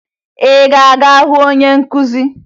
Ị ga-aga hụ onye nkụzi?